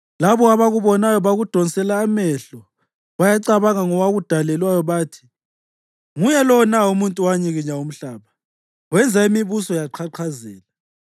Labo abakubonayo bakudonsela amehlo, bayacabanga ngowakudalelwayo bathi: “Nguye lo na umuntu owanyikinya umhlaba wenza imibuso yaqhaqhazela,